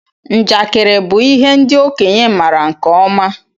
Njakiri bụ ihe ndị okenye maara nke ọma.